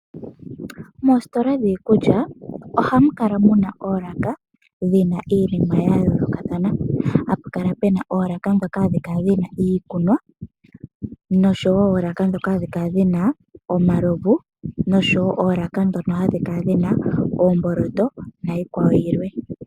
Moositola dhiikulya ohamu kala muna oolaka dhina iinima ya yoolokathana. Hapu kala pena oolaka ndhoka hadhi kala dhina iikunwa, noshowo oolaka ndhoka hadhi kala dhina omalovu noshowo oolaka ndhono hadhi kala dhina oomboloto na iikwawo yilwe.